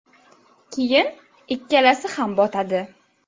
Keyin ikkalasi ham botadi.